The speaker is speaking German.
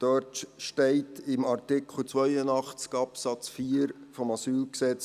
Dort steht in Artikel 82 Absatz 4 AsylG: